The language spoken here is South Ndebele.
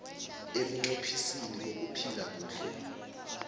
ebunqophisini bokuphila kuhle